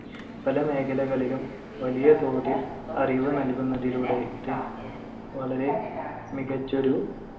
പല മേഖലകളിലും വലിയ തോതിൽ അറിവ് നൽകുന്നതിലൂടെ ഇത് വളരെ മികച്ചൊരു